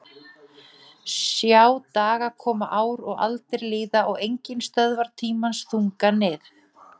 Sjá dagar koma ár og aldir líða og enginn stöðvar tímans þunga nið